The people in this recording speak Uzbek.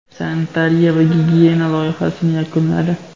sanitariya va gigiyena loyihasini yakunladi.